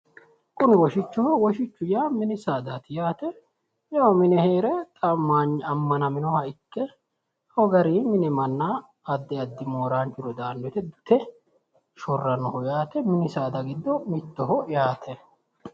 kunu woshichoho woshichu yaa mini saadati yaate yawu mine heere xa ammanaminoha ikke ko gari mine manna addi addi mooraanchuno daanno wote dute shorrannoho yaate mini saada giddo mittoho yaate.